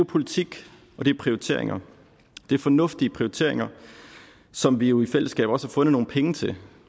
politik og det er prioriteringer det er fornuftige prioriteringer som vi jo i fællesskab også har fundet nogle penge til